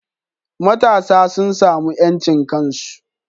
Matasa sun samu yancin kansu